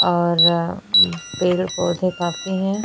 और पेड़- पौधे काफी है।